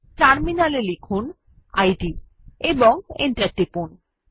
terminal এ লিখুন id এবং এন্টার টিপুন